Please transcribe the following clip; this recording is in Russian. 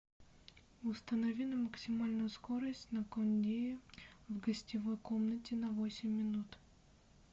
установи на максимальную скорость на кондее в гостевой комнате на восемь минут